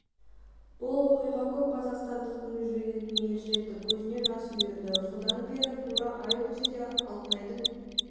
бұл оқиға көп қазақстандықтың жүрегін елжіретті көзіне жас үйірді содан бері тура ай өтсе де алтынайдың